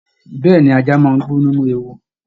Bẹẹni, ajá máa n gbó nínú ewu.